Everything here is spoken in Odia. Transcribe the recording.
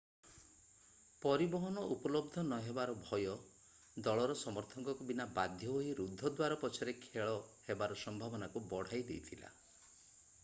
ପରିବହନ ଉପଲବ୍ଧ ନହେବାର ଭୟ ଦଳର ସମର୍ଥକଙ୍କ ବିନା ବାଧ୍ୟ ହୋଇ ରୁଦ୍ଧ ଦ୍ୱାର ପଛରେ ଖେଳ ହେବାର ସମ୍ଭାବନାକୁ ବଢାଇ ଦେଇଥିଲା